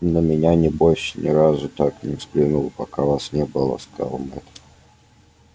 на меня небось ни разу так не взглянул пока вас не было сказал мэтт